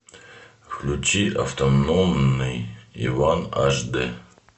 включи автономный иван аш дэ